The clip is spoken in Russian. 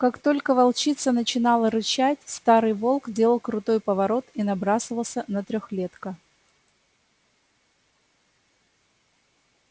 как только волчица начинала рычать старый волк делал крутой поворот и набрасывался на трёхлетка